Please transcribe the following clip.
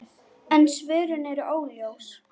En svörin eru óljós.